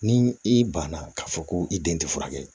Ni i banna k'a fɔ ko i den tɛ furakɛ